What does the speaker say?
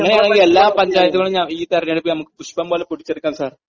അങ്ങനെയാണെങ്കി എല്ലാ പഞ്ചായത്തുകളും നമുക്ക് ഈ തെരെഞ്ഞെടുപ്പിൽ പുഷ്പം പോലെ പിടിച്ചെടുക്കാൻ സാർ..